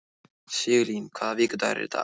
Sigurlín, hvaða vikudagur er í dag?